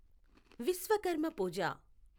Vishwakarma పూజ